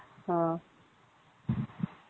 ம்ம்